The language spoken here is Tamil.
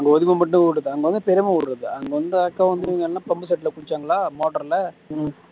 அங்க பெரியம்மா ஊரு இருக்குது அங்க வந்தா அக்கா வந்தீங்கன்னா pump set ல குளிச்சாங்களா motor ல